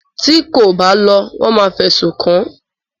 Ti kò bá lọ wọ́n máa fẹ̀sùn kàn án.